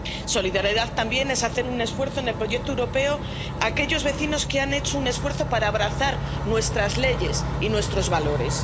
Solidaridad también es hacer un esfuerzo en el proyecto europeo para con aquellos vecinos que han hecho un esfuerzo para abrazar nuestras leyes y nuestros valores.